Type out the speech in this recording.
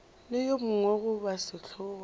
le yo mongwe goba sehlongwa